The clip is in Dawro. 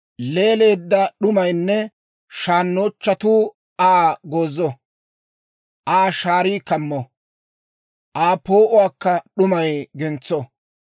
Leeleedda d'umaynne shaannochchuu Aa goozo; Aa shaarii kammo; Aa poo'uwaakka d'umay gentso.